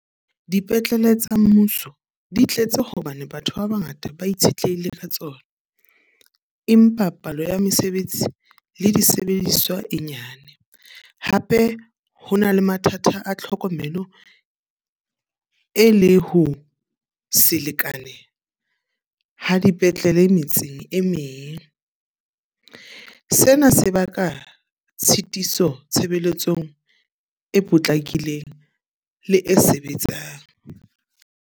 Dipetlele tsa mmuso di tletse hobane batho ba bangata ba itshetlehile ka tsona. Empa palo ya mesebetsi le disebediswa e nyane. Hape ho na le mathata a tlhokomelo e le ho selekane ha dipetlele metseng e meng. Sena se baka tshitiso tshebeletsong e potlakileng, le e sebetsang.